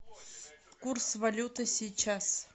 курс валюты сейчас